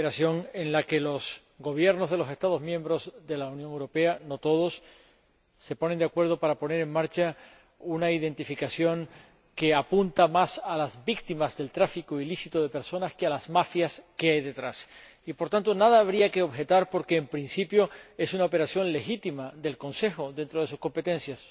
Una operación en la que los Gobiernos de los Estados miembros de la Unión Europea —no todos— se ponen de acuerdo para poner en marcha una identificación que apunta más a las víctimas del tráfico ilícito de personas que a las mafias que hay detrás y, por tanto, nada habría que objetar porque, en principio, es una operación legítima del Consejo dentro de sus competencias.